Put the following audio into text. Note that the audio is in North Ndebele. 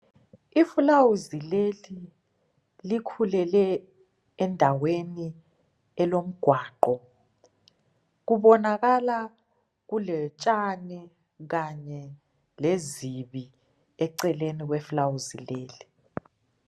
Ifulawuzi lelin likhulele endaweni elomgwaqo kubonakala kulotshani kanye lezibi eceleni kwefulawuzi leli.